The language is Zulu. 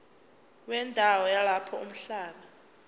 wendawo yalapho umhlaba